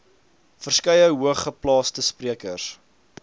verskeie hoogeplaasde sprekers